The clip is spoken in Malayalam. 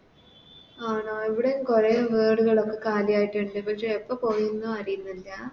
ആണോ ഇവിടേം കൊറേ വീടുകള് കാലിയായിട്ടുണ്ട് പക്ഷെ എപ്പം പൊഴിയും ന്ന് അറിയുന്നില്ല